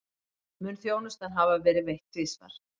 Mun þjónustan hafa verið veitt tvisvar